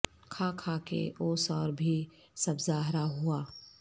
کھا کھا کے اوس اور بھی سبزہ ہرا ہوا